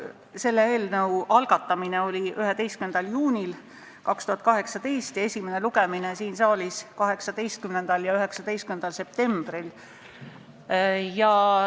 See eelnõu algatati 11. juunil 2018 ja esimene lugemine siin saalis oli 18. ja 19. septembril.